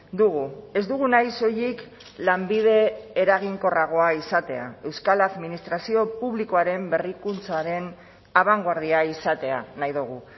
dugu ez dugu nahi soilik lanbide eraginkorragoa izatea euskal administrazio publikoaren berrikuntzaren abangoardia izatea nahi dugu